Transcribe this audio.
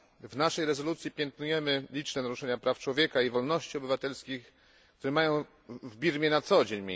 W naszej rezolucji piętnujemy liczne naruszenia praw człowieka i wolności obywatelskich, które mają w Birmie miejsce na co dzień.